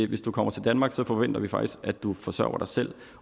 hvis du kommer til danmark forventer vi faktisk at du forsørger dig selv